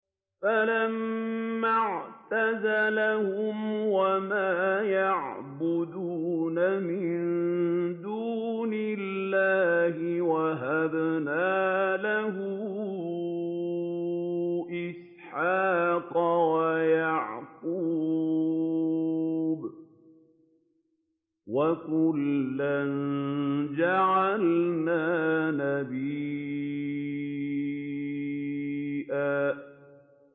فَلَمَّا اعْتَزَلَهُمْ وَمَا يَعْبُدُونَ مِن دُونِ اللَّهِ وَهَبْنَا لَهُ إِسْحَاقَ وَيَعْقُوبَ ۖ وَكُلًّا جَعَلْنَا نَبِيًّا